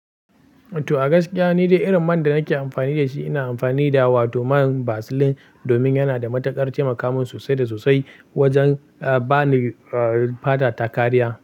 To, a gaskiya ni dai irin man da nake amfani da shi ina amfani da wato man Vaseline domin yana da matukar taimaka min sosai da sosai wajen ba ni fata takariya.